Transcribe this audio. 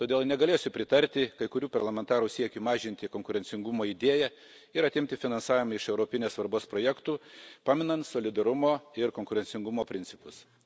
Todėl negalėsiu pritarti kai kurių parlamentarų siekiui mažinti konkurencingumą idėjai ir atimti finansavimą iš europinės svarbos projektų paminant solidarumo ir konkurencingumo principus.